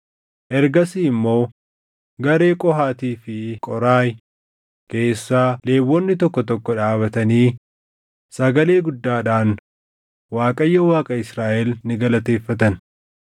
Ergasii immoo garee Qohaatii fi Qooraahi keessaa Lewwonni tokko tokko dhaabatanii, sagalee guddaadhaan Waaqayyo Waaqa Israaʼel ni galateeffatan.